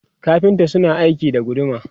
kafinta suna aiki da guduma